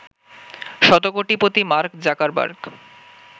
শতকোটিপতি Mark Zuckerberg